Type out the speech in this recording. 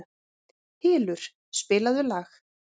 Hylur, spilaðu lag.